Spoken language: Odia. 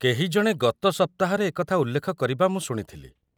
କେହି ଜଣେ ଗତ ସପ୍ତାହରେ ଏ କଥା ଉଲ୍ଲେଖ କରିବା ମୁଁ ଶୁଣିଥିଲି।